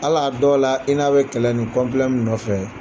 Hal'a dɔw la i n'a bɛ kɛlɛ nin min nɔfɛ.